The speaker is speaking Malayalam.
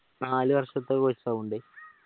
നാല് വർഷത്തെ course